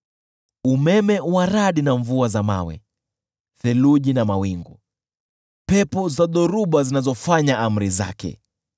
umeme wa radi na mvua ya mawe, theluji na mawingu, pepo za dhoruba zinazofanya amri zake,